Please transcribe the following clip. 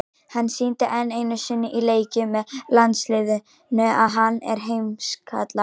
Hann sýndi enn einu sinni í leikjum með landsliðinu að hann er í heimsklassa.